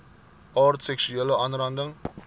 aard seksuele aanranding